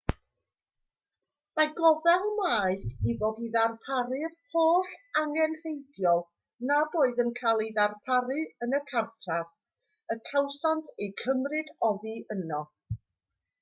mae gofal maeth i fod i ddarparu'r holl angenrheidiol nad oedd yn cael eu darparu yn y cartref y cawsant eu cymryd oddi yno